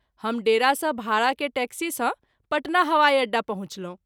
हम डेरा सँ भाड़ा के टैक्सी सँ पटना हवाई अड्डा पहुँचलहुँ।